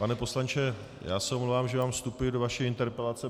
Pane poslanče, já se omlouvám, že vám vstupuji do vaší interpelace.